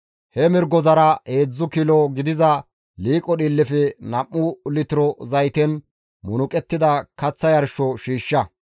he mirgozara heedzdzu kilo gidiza liiqo dhiillefe nam7u litiro zayten munuqettida kaththa yarsho shiishsha.